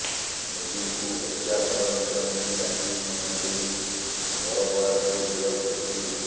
ମୋଦୀଙ୍କୁ ହତ୍ୟା ଷଡ଼ଯନ୍ତ୍ର ନେଇ ଆଜି ପୁନେ ପୁଲିସ ବରବରାଙ୍କୁ ଗିରଫ କରିଛି